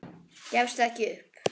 Gefstu ekki upp.